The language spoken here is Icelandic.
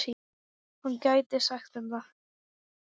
Hann gæti sagt þeim það.